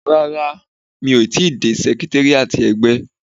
Rárá, mi ò tíì dé sẹkritéríátì ẹgbẹ́.